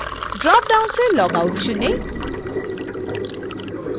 dropdown से log out चुनें